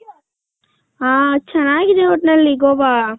ಹ ಚೆನ್ನಾಗಿದೆ ಒಟ್ಟ್ನಲ್ಲಿ ಗೋವ .